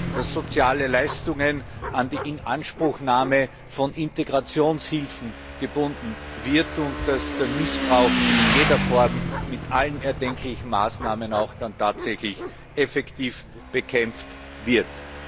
dass soziale Leistungen an die Inanspruchnahme von Integrationshilfen gebunden werden, und dass Missbrauch in jeder Form mit allen erdenklichen Maßnahmen auch tatsächlich effektiv bekämpft wird.